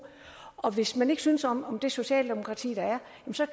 og hvis man ikke synes om om det socialdemokratiet er